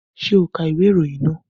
Ṣé o ka ìwé ìròyìn àná?